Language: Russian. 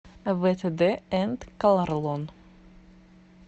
втд энд колорлон